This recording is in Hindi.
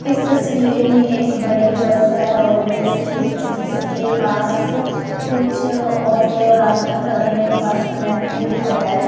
इस तस्वीर में एक बड़ी बस है रोडवेज की जिसके पास कुछ औरतें और आदमी खड़े हैं एक बस कंडक्टर भी खड़ा है।